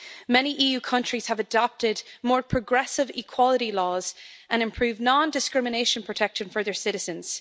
Many EU countries have adopted more progressive equality laws and improved non-discrimination protection for their citizens.